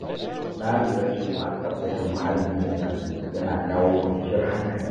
Na lura cewa tsaftace muhalli da safe yana kawo kwanciyar hankali.